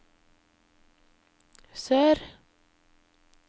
sør